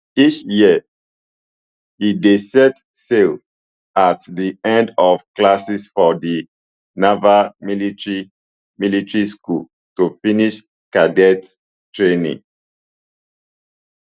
each year e dey set sail at di end of classes for di naval military military school to finish cadets training